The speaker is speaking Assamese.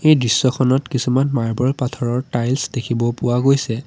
এই দৃশ্যখনত কিছুমান মাৰ্বৰ পাথৰৰ টাইলছ দেখিব পোৱা গৈছে।